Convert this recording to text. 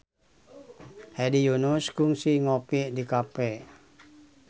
Hedi Yunus kungsi ngopi di cafe